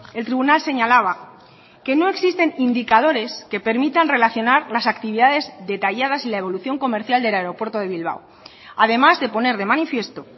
el tribunal señalaba que no existen indicadores que permitan relacionar las actividades detalladas y la evolución comercial del aeropuerto de bilbao además de poner de manifiesto